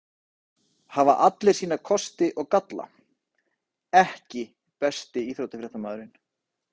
Hafa allir sína kosti og galla EKKI besti íþróttafréttamaðurinn?